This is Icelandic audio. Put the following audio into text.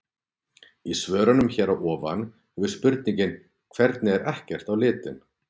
Í svörunum hér að ofan hefur spurningin hvernig er ekkert á litinn?